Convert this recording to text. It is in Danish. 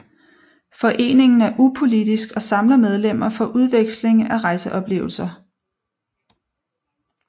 Foreningen er upolitisk og samler medlemmerne for udveksling af rejseoplevelser